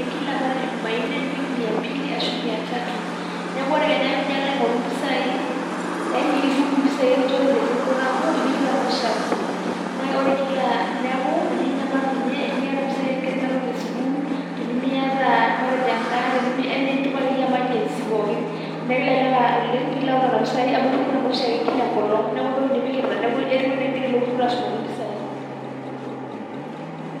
wiki kia ejumnne, nipik miambili ashu mia tatu, neeku ore Kenya piijo alo aing'oru impisai Yani itum impisai nikinchori tesiokinoto amu ipikita nooshiake Ine, neeku ininyamalu inye, tenimiata impisai oo nkera esukuul tenimiata matejo endaa, Yani enitum ake iyie emajesi pookin. Neeku kelelek oleng' piilo ayau Nena pisai amu ipikita naa oshiake Kila engolong' neeku entoki oshiake niata neeku etiu enaa ekigira ilo turrur ashumaki impisai.